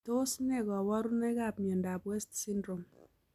Tos ne kaborunoikab miondop west syndrome?